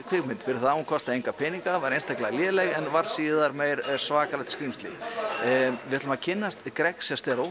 kvikmynd fyrir það að hún kostaði enga peninga en varð síðan svakalegt skrímsli við ætlum að kynnast Greg